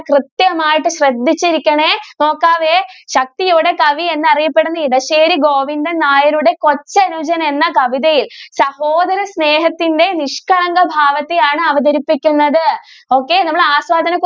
കൃത്യമായിട്ട് ശ്രെദ്ധിച്ചിരിക്കണേ. നോക്കാവേകവി എന്ന് അറിയപ്പെടുന്ന ഇടശ്ശേരി ഗോവിന്ദൻ നായരുടെ കൊച്ചനുജൻ എന്ന കവിതയിൽ സഹോദര സ്നേഹത്തിന്റെ നിഷ്കളങ്ക ഭാവത്തെ ആണ് അവതരിപ്പിക്കുന്നത് okay നമ്മൾ ആസ്വാദന കുറിപ്പ്